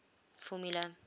formula